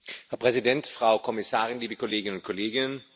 Herr Präsident, Frau Kommissarin, liebe Kolleginnen und Kollegen!